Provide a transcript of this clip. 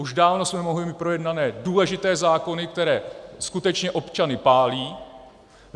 Už dávno jsme mohli mít projednané důležité zákony, které skutečně občany pálí.